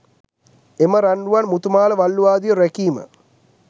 එම රන් රුවන් මුතු මාල වළලූ ආදිය රැකීම